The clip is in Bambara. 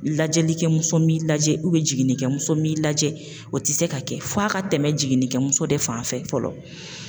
Lajɛlikɛmuso m'i lajɛ jiginnikɛmuso m'i lajɛ, o tɛ se ka kɛ, f'a ka tɛmɛ jiginnikɛmuso de fan fɛ fɔlɔ.